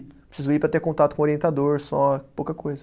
Preciso ir para ter contato com o orientador, só, pouca coisa.